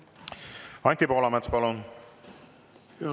Anti Poolamets, palun!